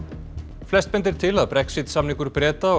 flest bendir til að Brexit samningur Breta og